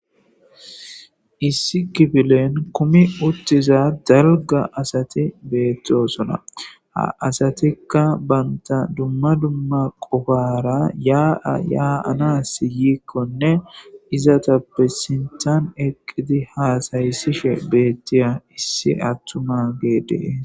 Issi kifilen kumi uttiza dalgga asati beettosona. Ha asatikka banta dumma dumma qofara yaanas yiikkonne izatappe sinthan eqqidi haasayisishe beettiya issi attumagee dees.